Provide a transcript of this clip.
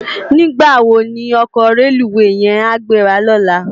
Nigbá wó ni òkò rélúwé yèn á gbérá lòlá?